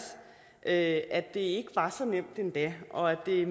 at det ikke var så nemt endda og at det